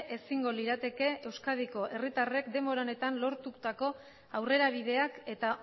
ezingo lirateke euskadiko herritarrek denbora honetan lortutako aurrerabideak eta